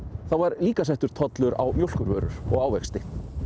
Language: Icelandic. þá var líka settur tollur á mjólkurvörur og ávexti